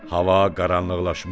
Hava qaranlıqlaşmışdı.